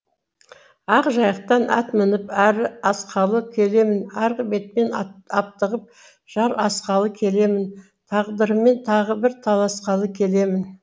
ақ жайықтан ат мініп әрі асқалы келемін арғы бетпен аптығып жар асқалы келемін тағдырыммен тағы бір таласқалы келемін